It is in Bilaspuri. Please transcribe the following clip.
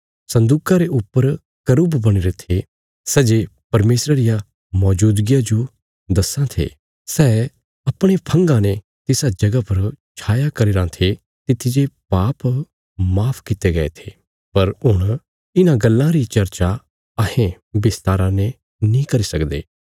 सन्दूका रे ऊपर करुब बणीरे थे सै जे परमेशरा रिया मौजूदगिया जो दस्सां थे सै अपणे फंगा ने तिसा जगह पर छाया करी रां थे तित्थी जे पाप माफ कित्ते गये थे पर हुण इन्हां गल्लां री चर्चा अहें बिस्तारा ने नीं करी सकदे